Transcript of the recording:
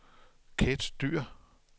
Kathe Dyhr